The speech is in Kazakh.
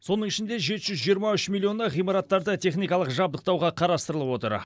соның ішінде жеті жүз жиырма үш миллионы ғимараттарды техникалық жабдықтауға қарастырылып отыр